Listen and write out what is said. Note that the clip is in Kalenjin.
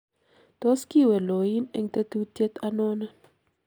tos kiiwe loin eng tetutyet anonon?